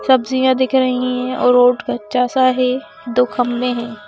सब्जियां दिख रही हैं रोड कच्चा सा है दो खंबे हैं।